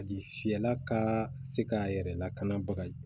A ji fiyɛla ka se k'a yɛrɛ lakana baga